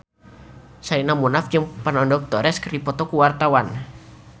Sherina Munaf jeung Fernando Torres keur dipoto ku wartawan